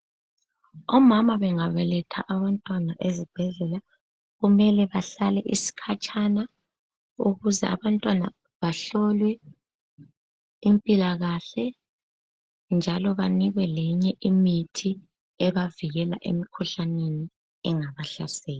Omama bengabeletha abantwana ezibhedlela kumele behlale isikhatshana ukuze abantwana bahlolwe impilakahle njalo banikwe leminye imithi engabavikela emkhuhlaneni engabahlasela.